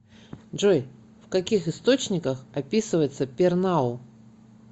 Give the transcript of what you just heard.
джой в каких источниках описывается пернау